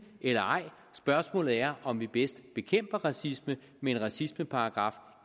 eller ej spørgsmålet er om vi bedst bekæmper racisme med en racismeparagraf